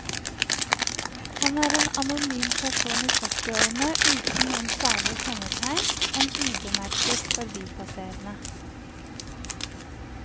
Han er en anonym person i førtiårene uten noen særlige kjennetegn, en ubemerket forbipasserende.